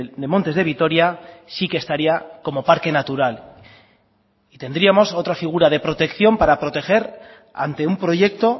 de montes de vitoria sí que estaría como parque natural y tendríamos otra figura de protección para proteger ante un proyecto